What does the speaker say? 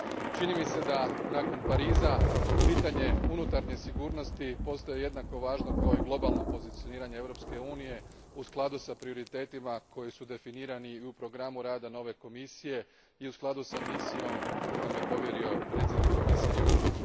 Čini mi se da nakon Pariza pitanje unutarnje sigurnosti postaje jednako važno kao i globalno pozicioniranje Europske unije u skladu s prioritetima koji su definirani u programu rada nove Komisije i u skladu s misijom koju vam je povjerio predsjednik Komisije Juncker.